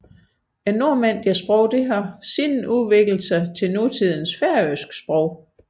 Nordmændenes sprog har siden udviklet sig til nutidens færøske sprog